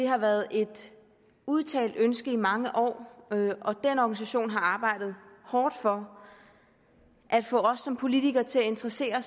har været et udtalt ønske i mange år og den organisation har arbejdet hårdt for at få os som politikere til at interessere